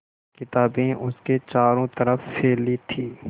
किताबें उसके चारों तरफ़ फैली थीं